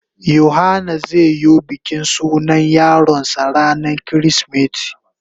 Yohana zai yo bikin sunan yaron sa ranan kirisimeti.